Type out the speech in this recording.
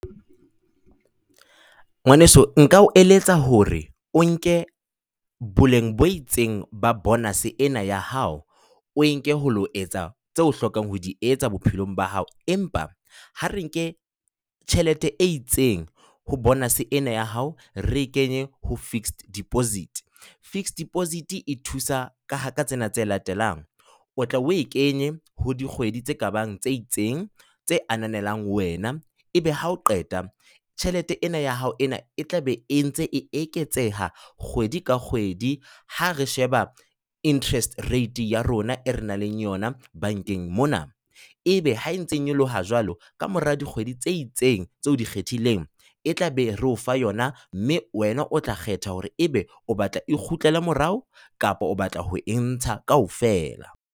Ngwaneso nka o eletsa hore o nke boleng bo itseng ba bonus ena ya hao, o enke ho lo etsa tse o hlokang ho di etsa bophelong ba hao. Empa ha re nke tjhelete e itseng ho bonus ena ya hao re e kenye ho fixed deposit. Fixed deposit e thusa ka tsena tse latelang. O tla o e kenye ho dikgwedi tse kabang tse itseng tse ananelang wena. Ebe ha o qeta tjhelete ena ya hao ena e tla be e ntse e eketseha kgwedi ka kgwedi ha re sheba interest rate ya rona e re nang le yona bankeng mona. Ebe ha ntse nyoloha jwalo, ka mora dikgwedi tse itseng tse o di kgethileng, e tla be re o fa yona mme wena o tla kgetha hore ebe o batla e kgutlele morao kapa o batla ho e ntsha kaofela.